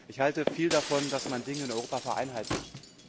Ich halte viel davon, dass man Dinge in Europa vereinheitlicht.